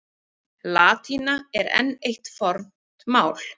Latína er enn eitt fornt mál.